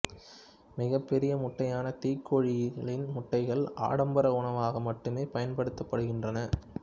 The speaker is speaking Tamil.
மிகப் பெரிய முட்டையான தீக்கோழிகளின் முட்டைகள் ஆடம்பர உணவாக மட்டுமே பயன்படுத்தப்படுகின்றன